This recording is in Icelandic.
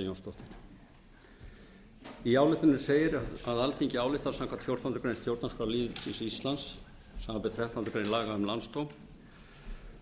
birgitta jónsdóttir í ályktuninni segir að alþingi álykti að samkvæmt fjórtándu grein stjórnarskrá lýðveldisins íslands samanber þrettándu grein laga um landsdóm